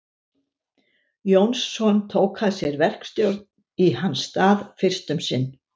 Jónsson tók að sér verkstjórn í hans stað fyrst um sinn.